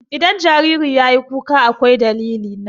Idan jariri yayi kuka akwai dalili.